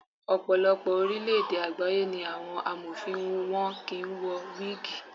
Ọ̀pọ̀lọpọ̀ orílẹ̀ èdè àgbáyé ni àwọn Amọ̀fin wọn kì í wọ wígìì.